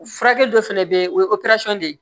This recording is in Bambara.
Furakɛ dɔ fɛnɛ be yen o ye de ye